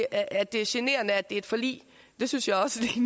at det er generende fordi det er et forlig det synes jeg også